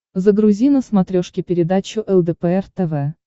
загрузи на смотрешке передачу лдпр тв